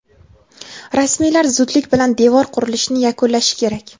rasmiylar zudlik bilan devor qurilishini yakunlashi kerak.